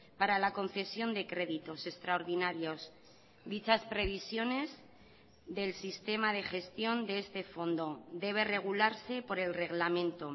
para la concesión de créditos extraordinarios dichas previsiones del sistema de gestión de este fondo debe regularse por el reglamento